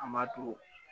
An b'a to